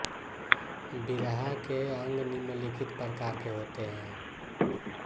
बिरहा के अंग निम्नलिखित प्रकार के होते है